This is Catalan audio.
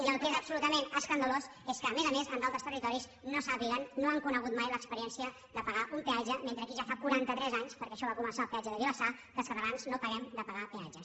i el que és absolutament escandalós és que a més a més en altres territoris no sàpiguen no hagin conegut mai l’experiència de pagar un peatge mentre aquí ja fa quaranta tres anys perquè això va començar al petge de vilassar que els catalans no parem de pagar peatges